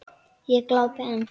Ég glápi enn.